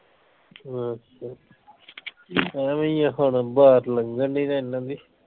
ਹਾਂ ਚਲੋ ਐਵੇਂ ਈ ਆ ਹੁਣ ਬਹਾਰ ਲੱਗਣ ਨਈ ਦਈ ਇਨ੍ਹਾਂ ਦੀ